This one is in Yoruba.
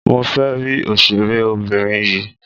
Mo fẹ́ rí òṣèré obìnrin yìí.